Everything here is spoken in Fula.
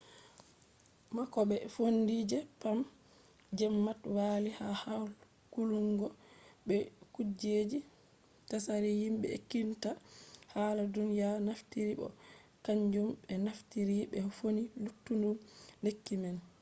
ha koɓe fondi je pam zmapp walli ha hakkulungo be kujeji tsari himɓe ekkititta hala duniya naftiri bo be kanjum ɓe naftiri ɓe fondi luttuɗum lekki man